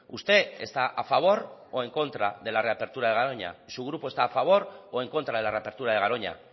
usted está a favor o en contra de la reapertura de garoña su grupo está a favor o en contra de la reapertura de garoña